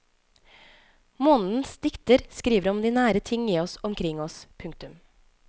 Månedens dikter skriver om de nære ting i oss og omkring oss. punktum